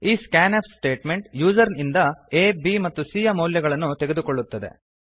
ಈ scanf statement user ಇಂದ ಆ b ಮತ್ತು c ಯ ಮೌಲ್ಯಗಳನ್ನು ತೆಗೆದುಕೊಳ್ಳುತ್ತದೆ